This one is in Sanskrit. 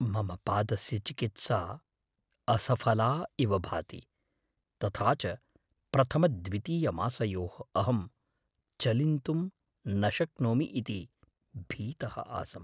मम पादस्य चिकित्सा असफला इव भाति, तथा च प्रथमद्वितीयमासयोः अहं चलिन्तुं न शक्नोमि इति भीतः आसम्।